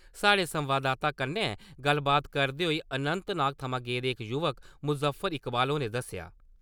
साढ़े संवाददाता कन्नै गल्लबात करदे होई अनंतनाग थमां गेदे इक युवा मुज़फर इकवाल होरें दस्सेआ।